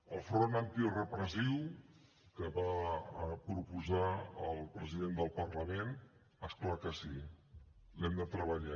el front antirepressiu que va proposar el president del parlament és clar que sí l’hem de treballar